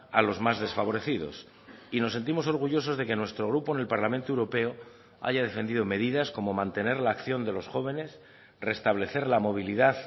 a los más desfavorecidos y nos sentimos orgullosos de que nuestro grupo en el parlamento europeo haya defendido medidas como mantener la acción de los jóvenes restablecer la movilidad